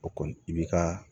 O kɔni i bi ka